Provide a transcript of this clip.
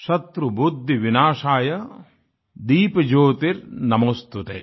शत्रुबुद्धिविनाशाय दीपज्योतिर्नमोस्तुते